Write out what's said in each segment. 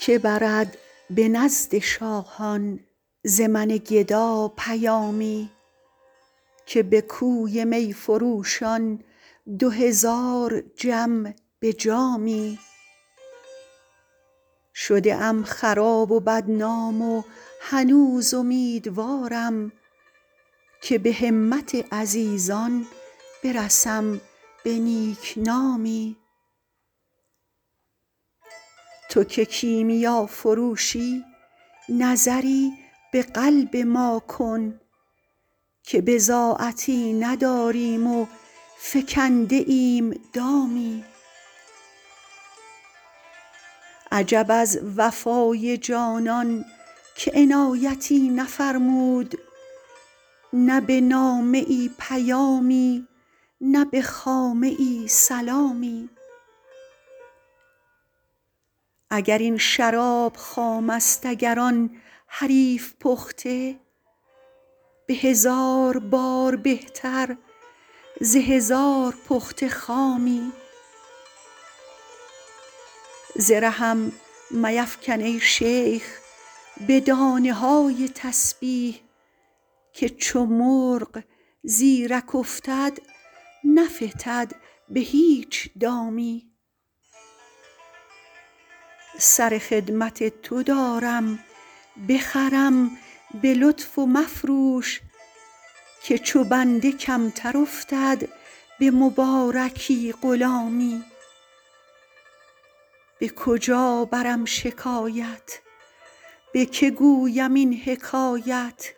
که برد به نزد شاهان ز من گدا پیامی که به کوی می فروشان دو هزار جم به جامی شده ام خراب و بدنام و هنوز امیدوارم که به همت عزیزان برسم به نیک نامی تو که کیمیافروشی نظری به قلب ما کن که بضاعتی نداریم و فکنده ایم دامی عجب از وفای جانان که عنایتی نفرمود نه به نامه ای پیامی نه به خامه ای سلامی اگر این شراب خام است اگر آن حریف پخته به هزار بار بهتر ز هزار پخته خامی ز رهم میفکن ای شیخ به دانه های تسبیح که چو مرغ زیرک افتد نفتد به هیچ دامی سر خدمت تو دارم بخرم به لطف و مفروش که چو بنده کمتر افتد به مبارکی غلامی به کجا برم شکایت به که گویم این حکایت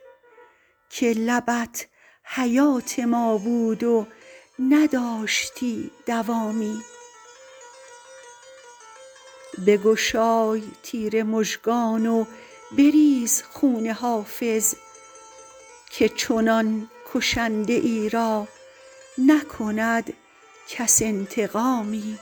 که لبت حیات ما بود و نداشتی دوامی بگشای تیر مژگان و بریز خون حافظ که چنان کشنده ای را نکند کس انتقامی